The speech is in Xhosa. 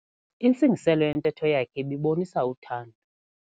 Intsingiselo yentetho yakhe ibibonisa uthando.